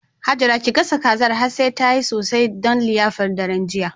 Hajara ki gasa kazar har sai da tayi sosai don liyafar daren jiya.